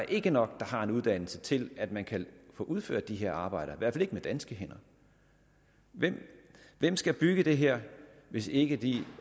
ikke nok der har en uddannelse til at man kan få udført de her arbejder i hvert fald ikke med danske hænder hvem skal bygge det her hvis ikke de